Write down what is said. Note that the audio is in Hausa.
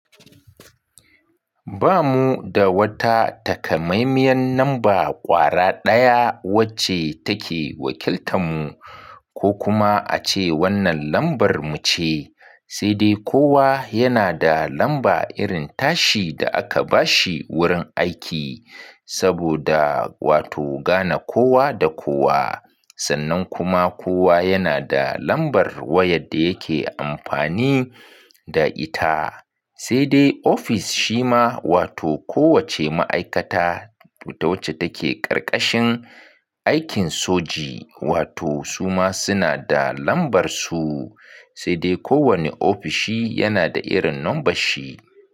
Ba mu da wata takamaimiyan namba ƙwara ɗaya wacce take wakiltan mu ko kuma ace wannan lambar mu ce, sai dai kowa yana da lamba irin tashi da aka bashi wurin aiki saboda wato gane kowa da kowa. Sannan kuma kowa yana da lambar wayar da yake amfani da ita. Sai dai ofis shi ma wato kowacce ma'aikata da wacce take ƙarƙashin aikin soji wato su ma suna da lambar su. Sai dai kowane ofishi yana da irin lambar shi.